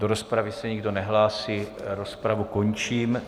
Do rozpravy se nikdo nehlásí, rozpravu končím.